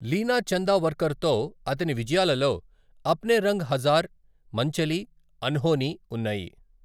లీనా చందావర్కర్తో అతని విజయాలలో అప్నే రంగ్ హజార్, మంచలి, అన్హోనీ ఉన్నాయి.